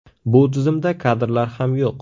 Bu tizimda kadrlar ham yo‘q.